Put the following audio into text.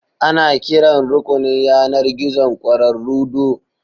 Ana kiran rukunin yanar gizon ƙwararru do